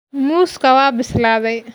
Muuska waa bislaaday.